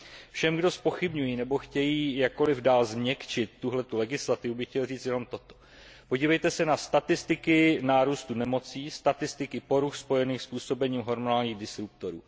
Všem, kdo zpochybňují nebo chtějí jakkoliv dál změkčit tuto legislativu, bych chtěl říci jen toto podívejte se na statistiky nárůstu nemocí, statistiky poruch spojených s působením hormonálních disruptorů.